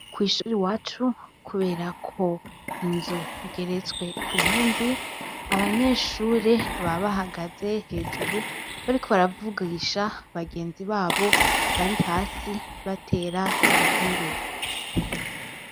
Kw'ishuri wacu, kubera ko inzu igeretswe kw'ihindi abanyeshure babahagaze hejuru bari ko baravugisha bagenzi babo bari hasi batera inkuru.